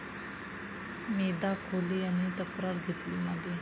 मेधा खोले यांनी तक्रार घेतली मागे